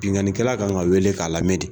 Binnkannikɛla kan ka wele k'a lamɛn de